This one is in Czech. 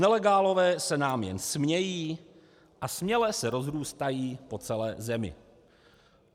Nelegálové se nám jen smějí a směle se rozrůstají po celé zemi.